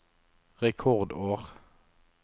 rekordår